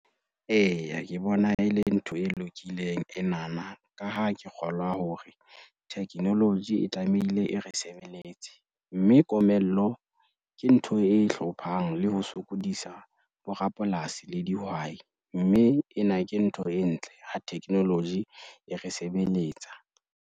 Eya, ke bona e le ntho e lokileng enana ka ha ke kgolwa hore technology e tlamehile e re sebeletse, mme komello ke ntho e hlophang le ho sokodisa borapolasi le dihwai, mme ena ke ntho e ntle ha technology e re sebeletsa.